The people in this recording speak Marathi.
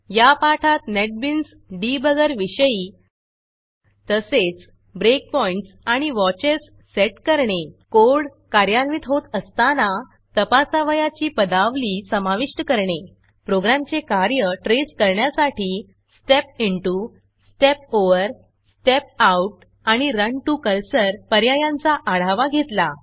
या पाठात नेटबीन्स debuggerनेटबिन्स डिबगर विषयी तसेच breakpointsब्रेकपॉइण्ट्स आणि watchesवॉचस सेट करणे कोड कार्यान्वित होत असताना तपासावयाची पदावली समाविष्ट करणे प्रोग्रॅमचे कार्य ट्रेस करण्यासाठी Step step into Step step over Step step out आणि Run to Cursorरन टू कर्सर पर्यायांचा आढावा घेतला